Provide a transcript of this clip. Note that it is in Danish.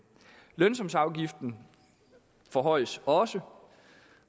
lønsumsafgiften forhøjes også